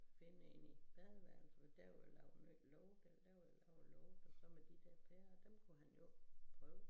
Finde en i badeværelset der vil også være lukket der vil også være lukket så med de dér pærer dem kunne han jo prøve